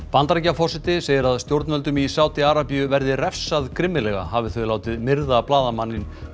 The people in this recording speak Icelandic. Bandaríkjaforseti segir að stjórnvöldum í Sádi Arabíu verði refsað grimmilega hafi þau látið myrða blaðamanninn